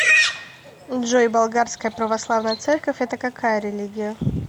джой болгарская православная церковь это какая религия